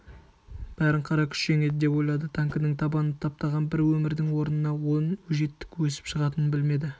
бәрін қара күш жеңеді деп ойлады танкінің табаны таптаған бір өмірдің орнына он өжеттік өсіп шығатынын білмеді